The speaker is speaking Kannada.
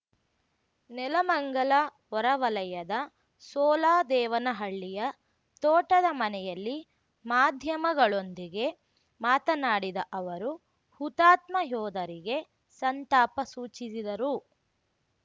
ನೆಲಮಂಗಲ ಹೊರವಲಯದ ಸೋಲದೇವನಹಳ್ಳಿಯ ತೋಟದ ಮನೆಯಲ್ಲಿ ಮಾಧ್ಯಮಗಳೊಂದಿಗೆ ಮಾತನಾಡಿದ ಅವರು ಹುತಾತ್ಮ ಯೋಧರಿಗೆ ಸಂತಾಪ ಸೂಚಿಸಿದರು